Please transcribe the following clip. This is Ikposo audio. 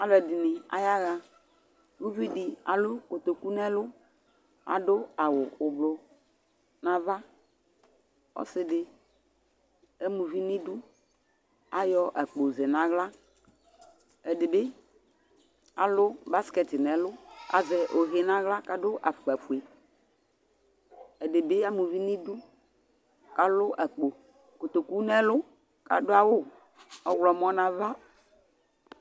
Alʋ ɛdιnι aya ɣa, uvi dι alʋ kotoku nʋ ɛlʋ, adʋ awʋ ʋblʋ nʋ ava, ɔsι dι ama uvi nʋ idu, kʋ ayɔ akpo zɛ nʋ aɣla , ɛdι bι alʋ baskɛt nʋ ɛlʋ kʋ azɛ ohe nʋ aɣla kʋ adʋ afʋkpa fueƐdι bι, ama uvi nʋ idu kʋ alʋ akpo kotoku nʋ ɛlʋ, kʋ adʋ awʋ ɔwlɔmɔ nʋ ava